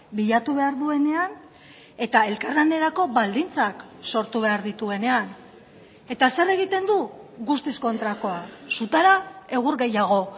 bilatu behar duenean eta elkarlanerako baldintzak sortu behar dituenean eta zer egiten du guztiz kontrakoa sutara egur gehiago